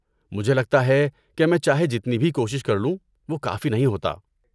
مجھے لگتا ہے کہ میں چاہے جتنی بھی کوشش کر لوں، وہ کافی نہیں ہوتا۔